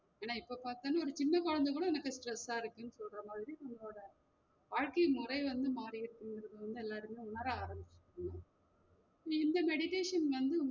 ஆனா இப்போ பாத்தாலும் ஒரு சின்ன கொழந்த கூட எனக்கு stress ஆ இருக்குனு சொல்ற மாதிரி உங்களோட வாழ்க்கை முறை வந்து மாறிருக்குங்குறது வந்து எல்லாருமே உணர ஆரம்பிச்சுருக்காங்க இந்த meditation வந்து